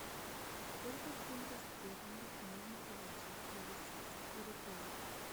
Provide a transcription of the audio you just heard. сколько фунтов стерлингов можно получить за российские рубли